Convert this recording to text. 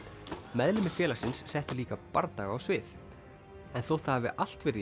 meðlimir félagsins settu líka bardaga á svið en þótt það hafi allt verið í